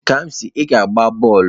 Kamsi, ị ga-agba bọọlụ?